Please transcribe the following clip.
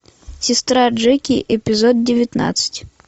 сестра джеки эпизод девятнадцать